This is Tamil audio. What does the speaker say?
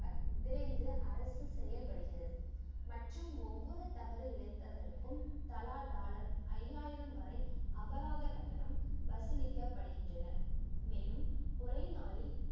விரைந்து அரசு செயல்படுகிறது மற்றும் ஒவ்வொரு தவறு இளைத்தவர்களுக்கும் தலா டாலர் ஐயாயிரம் வரை அபராத கட்டணம் வசூலிக்கப்படுகின்றன மேலும் ஒரே நாளில்